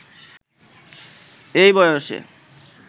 এই বয়সে